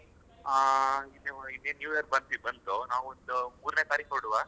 ಹಾ ಇದೆ new year ಗೆ ಬಂದು ನಾವ್ ಒಂದ್ ಅ ಮೂರನೇ ತಾರಿಕ್ ಹೊರಡುವ?